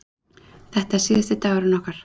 Þetta er síðasti dagurinn okkar.